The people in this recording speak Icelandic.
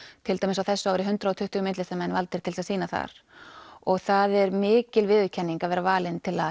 til dæmis á þessu ári hundrað og tuttugu myndlistarmenn valdir til þess að sýna þar og það er mikil viðurkenning að vera valinn til að